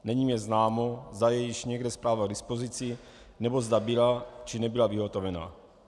Není mi známo, zda je již někde zpráva k dispozici, nebo zda byla, či nebyla vyhotovena.